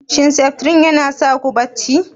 Shin Septrin yana sa ku barci?